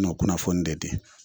N'ɔ kunnafoni de di